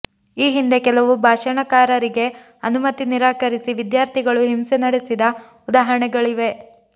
ಈ ಹಿಂದೆ ಕೆಲವು ಭಾಷಣಕಾರರಿಗೆ ಅನುಮತಿ ನಿರಾಕರಿಸಿ ವಿದ್ಯಾರ್ಥಿಗಳು ಹಿಂಸೆ ನಡೆಸಿದ ಉದಾಹರಣೆಗಳಿವೆ